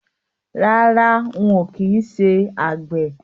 Rárá, ń ó kin ṣé àgbẹ̀